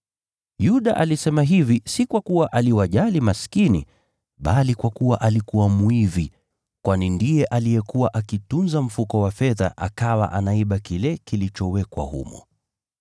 Yuda alisema hivi si kwa kuwa aliwajali maskini, bali kwa kuwa alikuwa mwizi, kwani ndiye alikuwa akitunza mfuko wa fedha akawa anaiba kile kilichowekwa humo.